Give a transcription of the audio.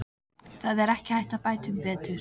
Það er ekki hægt að bæta um betur.